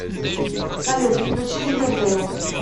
салют включи ривердейл